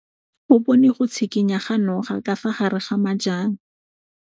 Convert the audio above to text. O bone go tshikinya ga noga ka fa gare ga majang.